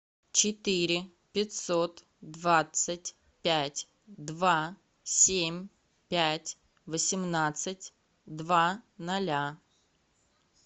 четыре пятьсот двадцать пять два семь пять восемнадцать два ноля